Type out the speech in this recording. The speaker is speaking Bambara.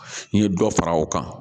N ye dɔ fara o kan